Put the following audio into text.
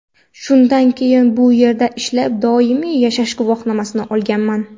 Shundan keyin bu yerda ishlab, doimiy yashash guvohnomasi olganman.